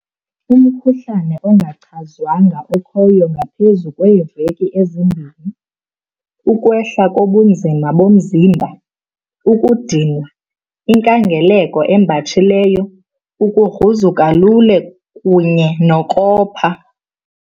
Umkhuhlane ongachazwanga okhoyo ngaphezulu kweeveki ezimbini, ukwehla kobunzima bomzimba, ukudinwa, inkangeleko embatshileyo, ukugruzuka lula kunye nokopha.